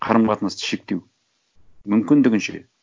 қарым қатынасты шектеу мүмкіндігінше